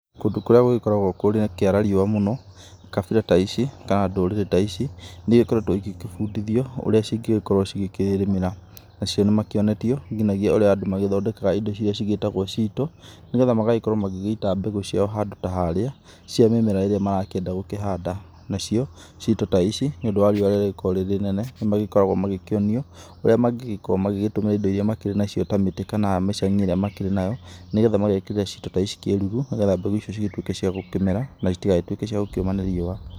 Kũndũ kũrĩa gũgĩkoragwo gũkĩara riũa mũno kabira ta ici, kana ndũrĩrĩ ta ici nĩ igĩkoretwo igĩbundithio ũrĩa cingĩgĩkorwo cikĩrĩmĩra nacio nĩ monetio ũrĩa andũ mangĩthondekera indo iria cigĩtagwo cito, nĩgetha magagĩkorwo magĩ mbegũ ciao handũ ta harĩa, cia mĩmera ĩrĩa marenda gũkĩhanda nacio cito ta ici, nĩ ũndũ wa riũa rĩrĩa rĩkoragwo rĩ rĩnene nĩ magĩkoragwo magĩkĩonio ũria magĩgĩkorwo magĩtumĩra indo makĩrĩ nacio ta mĩtĩ kana mĩcagi ĩrĩa makĩrĩ nayo nĩgetha magekĩrĩra cito ta ici kĩruru nĩgetha mbegũ icio cigĩtuĩke cia gũkĩmera na itigagĩtuĩke cia kũma nĩ riũa.